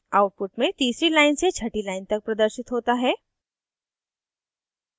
output में तीसरी line से छठी line तक प्रदर्शित hota है